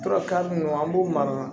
Tora ka nunnu an b'u mara